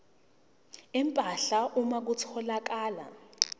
empahla uma kutholakala